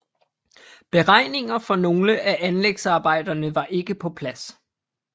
Beregninger for nogle af anlægsarbejderne var ikke på plads